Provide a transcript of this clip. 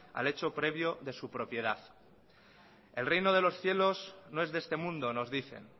al hecho previo de su propiedad el reino de los cielos no es de este mundo nos dicen